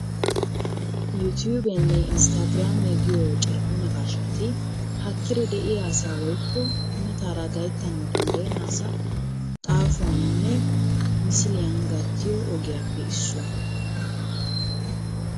Yuutubiyanne Instagrammiya giyo carkko naqqashshati haakkidi de'iyaa asaa woykko mataara gasttanawu danddayena asaa xaafuwaninne misiliyaan gattiyo ogiyaappe issuwaa.